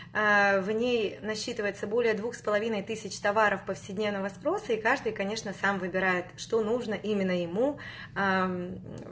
в ней насчитывается более двух с половиной тысяч товаров повседневного спроса и каждый конечно сам выбирает что нужно именно ему